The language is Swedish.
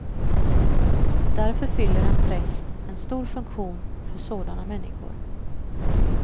Därför fyller en präst en stor funktion för sådana människor.